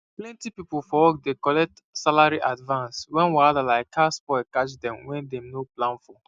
plenty people for work dey collect salary advance when wahala like car spoil catch dem wey dem no plan for